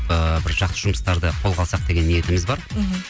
ыыы бір жақсы жұмыстарды қолға алсақ деген ниетіміз бар мхм